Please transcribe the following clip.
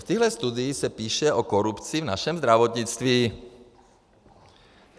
V téhle studii se píše o korupci v našem zdravotnictví.